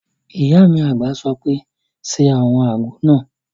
Ìyá mi àgbà sọ pé "ṣe àwọn àgbo náà!"